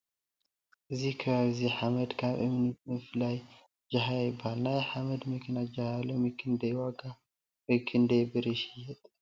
እዚ ከባቢ እዚ ሓመድ ካብ እምኒ ብምፍላይ ጃህያ ይበሃል::ናይ ሓደ መኪና ጃህያ ሎሚ ክንዳይ ዋጋ ወይ ክንዳይ ብር ይሽየጥ ?